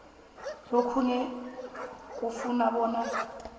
lokhuke kufuna bona